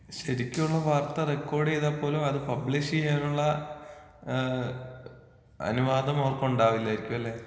ശെരിക്കുമുള്ള വാർത്ത റെക്കോഡീതാൽ പോലും അത് പബ്ലിഷീയാനുള്ള ഏ അനുവാദം അവർക്ക് ഉണ്ടാവില്ലായിരിക്കുമല്ലെ?